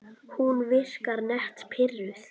Hún virkar nett pirruð.